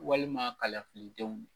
Walima kalafili denw